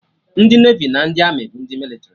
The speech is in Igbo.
Ndị Nevi na ndị Amị bụ ndị mịlịtrị